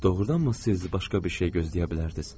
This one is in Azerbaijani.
Doğrudanmı siz başqa bir şey gözləyə bilərdiniz?